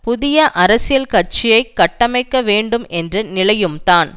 புதிய அரசியல் கட்சியை கட்டமைக்க வேண்டும் என்ற நிலையும் தான்